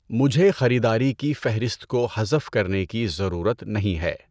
مجھے خریداری کی فہرست کو حذف کرنے کی ضرورت نہیں ہے